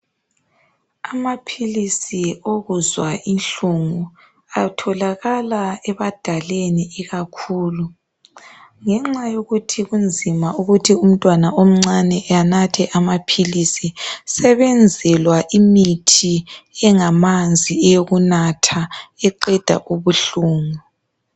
Amaphilisi okuzwa inhlungu atholakala ebadaleni ikakhulu ngenxa yokuthi kunzima ukuthi umntwana omncane anathe amaphilisi sebenzelwa imithi engamanzi eyokunatha eqeda ubuhlungu.